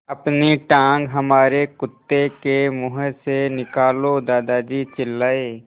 अपनी टाँग हमारे कुत्ते के मुँह से निकालो दादाजी चिल्लाए